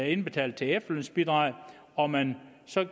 indbetalt efterlønsbidrag og man så